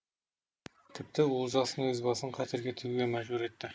тіпті олжастың өз басын қатерге тігуге мәжбүр етті